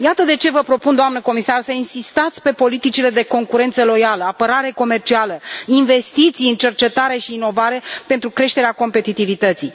Iată de ce vă propun, doamnă comisar, să insistați pe politicile de concurență loială, apărare comercială, investiții în cercetare și inovare pentru creșterea competitivității.